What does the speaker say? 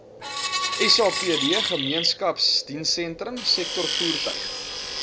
sapd gemeenskapsdienssentrum sektorvoertuig